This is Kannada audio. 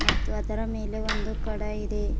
ಮತ್ತು ಅದರ ಮೇಲೆ ಒಂದು ಕಡ ಇದೆ.